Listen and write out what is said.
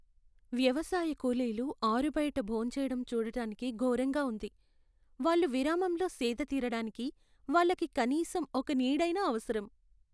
వ్యవసాయ కూలీలు ఆరుబయట భోంచేయడం చూడటానికి ఘోరంగా ఉంది. వాళ్ళు విరామంలో సేదతీరడానికి వాళ్ళకి కనీసం ఒక నీడైనా అవసరం.